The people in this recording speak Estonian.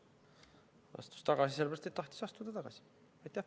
Ta astus tagasi sellepärast, et tahtis tagasi astuda.